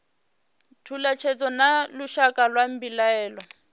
thalutshedzo na lushaka lwa mbilaelo